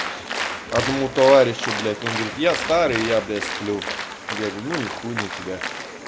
одному товарищу блядь он говорит я старый я бля сплю я говорю ну и хуй на тебя